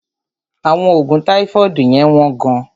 Àwọn oògùn táífọ́ọ̀dù yẹ́n wọ́n gán.